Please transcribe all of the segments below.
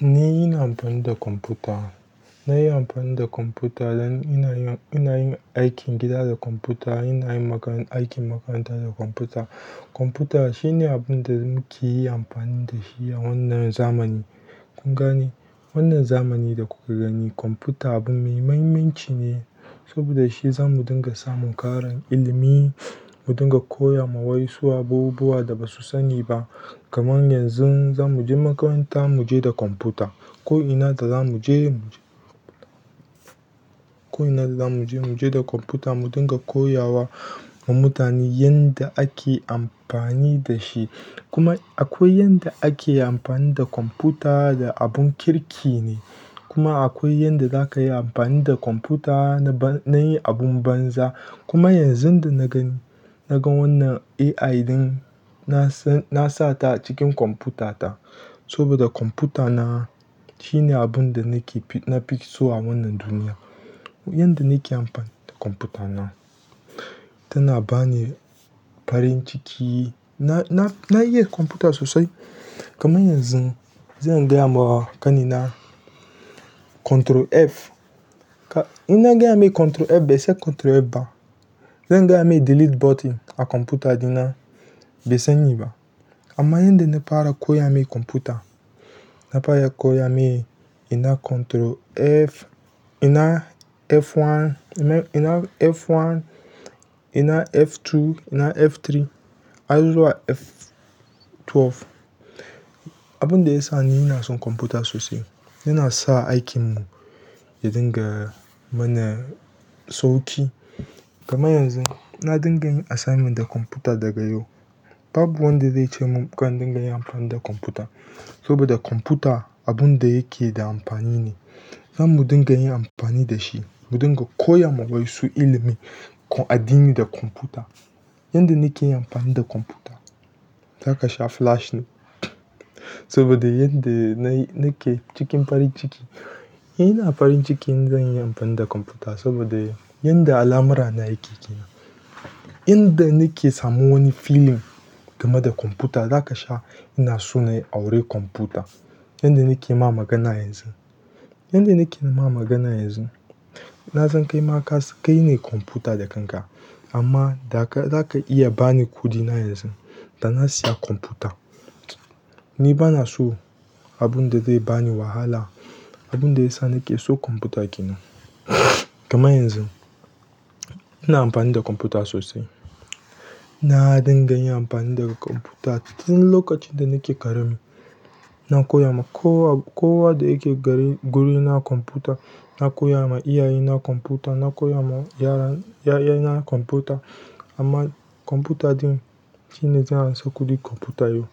Ni ina amfani da kwamfuta. Na yi amfani da kwamfuta don ina yin, ina yin aikin gida da kwamfuta, ina yin makarantar, aikin makaranta da kwamfuta. Kwamfuta shine abin da muke yi amfani da shi a wannan zamani. Kun gane? Wannan zamani da kuka gani kwamfuta abun mai muhimmanci ne saboda shi za mu dinga samun ƙarin ilimi, mu dinga koya ma waensu abubuwa da ba su sani ba. Kamar yanzu za mu je makaranta mu je da kwamfuta. Ko'ina da za mu je mu je, ko'ina da za mu je mu je da kwamfuta mu dinga koya wa mutane yanda ake amfani da shi. Kuma akwai yadda ake amfani da kwamfuta da abun kirki ne. Kuma akwai yadda za ka yi amfani da kwamfuta na yi abun banza. Kuma yanzun da na gani, naga wanna AI ɗin na sata acikin kwanfuta ta saboda kwafuta ta shine abunda nafiso a wannan duniyan yanda nake anfani da kwanfuta na tana bani farin ciki na, na, na iya kwamfuta sosai. Kaman yanzun, zan gaya ma ƙanina "Control F", ina gaya mai "Control F", bai san Control F ba. Zan gaya mai "Delete button" a kwamfuta ɗina bai san yi ba. Amma yadda na fara koya mai kwamfuta, na fara koya mai ina Control F, ina F ɗaya, ina F ɗaya, ina F biyu, ina F uku har zuwa F sha biyu. Abin da ya sa ni ina son kwamfuta sosai yana sa aikinmu ya dinga mana sauƙi. Kamar yanzu na dinga yin assignment da kwamfuta daga yo. Babu wanda zai ce mun kar dinga yin amfani da kwamfuta saboda kwamfuta abun da yake da amfani ne. Za mu dinga yin amfani da shi, mu dinga koya ma waensu ilimin addini da kwamfuta. Yadda nake yin amfani da kwamfuta, za ka sha flash ne saboda yadda na ke cikin farin ciki. Ina farin ciki in zanyi an fani da kwanfuta sabo de yanda alamura na yake, inda nake samun wani feeling game da kwanfuta, ina so in auri kwanfuta. Yadda nake yi ma magana yanzun, yadda nake yi ma magana yanzun, na san kai maka kai ne kwamfuta da kanka amma da ka, za ka iya ba ni kuɗina yanzun da na siya kwamfuta. Ni banaso abunda zai bani wahala. Abun da ya sa nake so kwamfuta ke nan. Kamar yanzun ina amfani da kwamfuta sosai. Na dinga yin amfani da kwamfuta tun lokacin da nake ƙarami na koya ma kowa, kowa da yake gari, guri na kwamfuta na koya ma iyaye na kwamfuta, na koya ma yara, yaye na kwamfuta amma kwamfuta ɗin shine zai hana su kuɗi kwamfuta yo.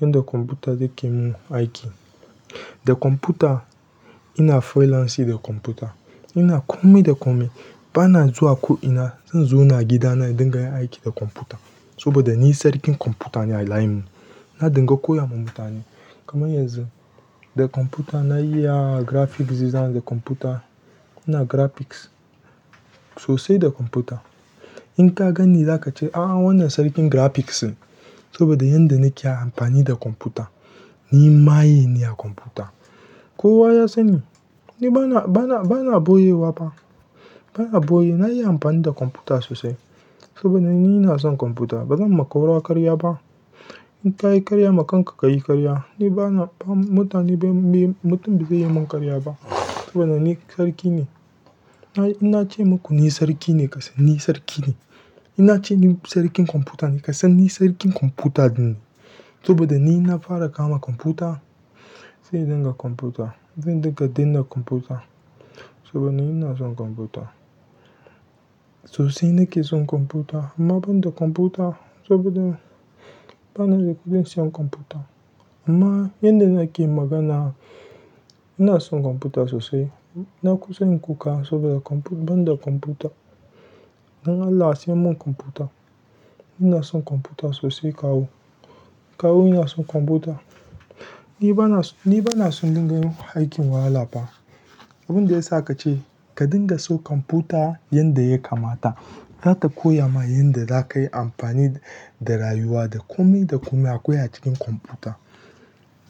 Yanda kwamfuta yake mun aiki. Da kwamfuta ina freelance da kwamfuta. Ina kome da kome. Bana zuwa ko'ina, zauna a gida na dinga yin aiki da kwamfuta saboda ni sarkin kwamfuta ne a layinmu. Na dinga koya ma mutane. Kamar yanzun da kwamfuta na iya graphics zana da kwamfuta. Ina graphics sosai da kwamfuta. In ka gani za ka ce "A'a wannan sarki graphics ne saboda yanda nake amfani da kwamfuta." Ni maye ne a kwamfuta. Kowa ya sani. Ni bana, bana, bana ɓoyewa fa. Bana ɓoye. Na yi amfani da kwamfuta sosai saboda ni ina son kwamfuta. Baran ma kowa ƙarya ba in ka yi karya, ma kanka ka yi karya. Ni bana, mutane bai, mutum bai yi mun karya ba saboda ni sarki ne. Ina ce muku ni sarki ne. Ka san ni sarki ne. In nace ni sarkin kwanfuta kasan ni sarkin kwanfuta ne saboda ni nafara kama kwanfuta sai dinga kwamfuta. Zan dinga danna kwamfuta saboda ni ina son kwamfuta. Sosai nake son kwamfuta amma ban da kwamfuta saboda bana da kuɗin siyan kwamfuta amma yanda nake magana ina son kwamfuta sosai. Na kusa in kuka saboda ban da kwamfuta. Dan Allah a sai min kwanfuta ina son kwanfuta sosai kawu kawu ina son kwamfuta. Ni banaso in dinga yin aikin wahal fa. Abun da ya sa ka ce ka dinga so kwamfuta yanda yakamata za ta koya ma yanda za ka yi amfani da rayuwa da kome da kome akwai a cikin kwamfuta.